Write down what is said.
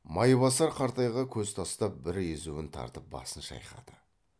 майбасар қартайға көз тастап бір езуін тартып басын шайқады